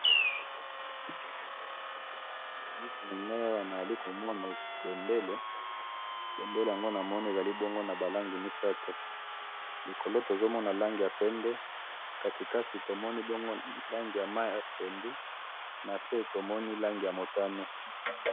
na miso na ngai awa nazali komona bendele, bendele yango namoni ezali bongo na ba langi misatu, na likolo tozo mona langi ya pembe, katikati tomoni bongo langi ya mayi ya pondu, na se tomoni langi ya motane